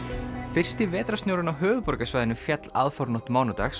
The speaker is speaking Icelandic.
fyrsti vetrarsnjórinn á höfuðborgarsvæðinu féll aðfaranótt mánudags